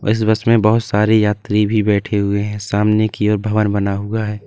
इस बस में बहोत सारे यात्री भी बैठे हुए हैं सामने की और भवन बना हुआ है।